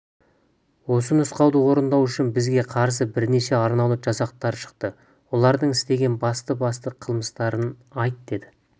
осы нұсқауды орындау үшін бізге қарсы бірнеше арнаулы жасақтар шықты олардың істеген басты-басты қылмыстарын айт деді